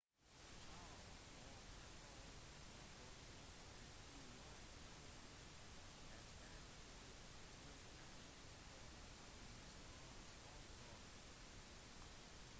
chiao og sharipov rapporterte at de var i trygg avstand fra thrusterne for holdningskontroll